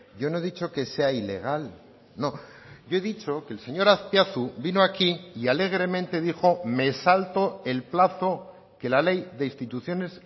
yo no he dicho que sea ilegal no yo he dicho que el señor azpiazu vino aquí y alegremente dijo me salto el plazo que la ley de instituciones